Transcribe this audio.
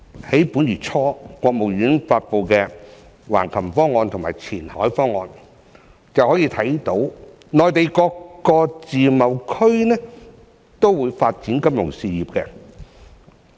在本月初，國務院發布的《橫琴方案》和《前海方案》便可以看到，內地各個自貿區均會發展金融業。